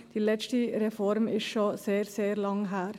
Die letzte Reform ist schon sehr, sehr lange her.